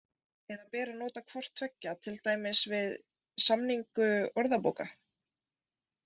Eða ber að nota hvort tveggja, til dæmis við samningu orðabóka?